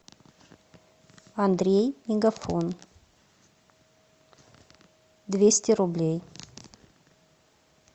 андрей мегафон двести рублей